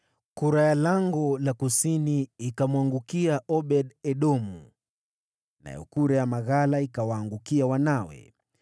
Kura ya Lango la Kusini ikamwangukia Obed-Edomu, nayo kura ya maghala ikawaangukia wanawe.